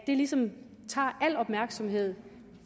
ligesom tager al opmærksomheden